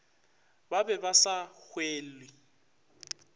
ba be ba sa hwele